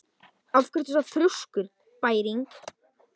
Af hverju ertu svona þrjóskur, Bæring?